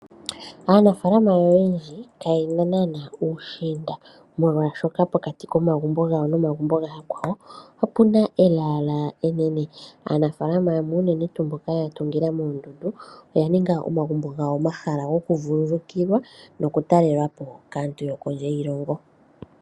Aanafalama oyendji kaye naanawa uushinda oshoka pokati komagumbo nomagumbo gayakwawo ope na elaala enene. Aanafalama yamwe unene mboka ya tungila moondundu oya ninga omagumbo gawo omahala gokuvululukilwa nokutalelwa po kaantu yokondje yiilongo.